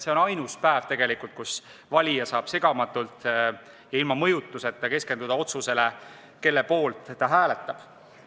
See on tegelikult ainus päev, kui valija saab segamatult ja ilma mõjutusteta keskenduda otsusele, kelle poolt ta hääletab.